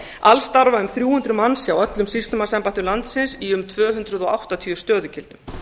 alls starfa um þrjú hundruð manns hjá öllum sýslumannsembættum landsins í um tvö hundruð og áttatíu stöðugildum